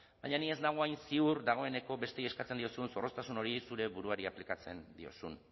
baina ni ez nago hain ziur dagoeneko besteei eskatzen diozun zorroztasun hori zeure buruari aplikatzen diozun